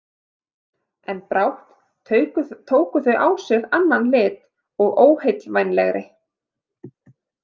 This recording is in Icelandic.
En brátt tóku þau á sig annan lit og óheillavænlegri.